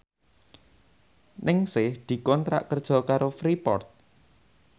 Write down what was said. Ningsih dikontrak kerja karo Freeport